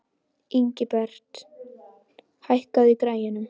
Ingibert, hækkaðu í græjunum.